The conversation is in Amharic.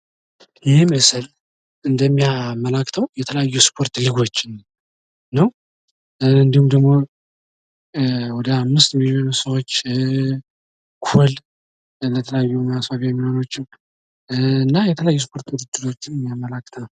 ይህ ምስል እንደሚያመላክተው የተለያዩ የስፖርት ሊጎችን ነው። እንድሁም ደግሞ ወደ አምስት የሚሆኑ ሰዎች ጎል የተለያዩ ማስዋቢያ እና የተለያዩ የስፖርት ውድድሮችን የሚያመለክት ነው።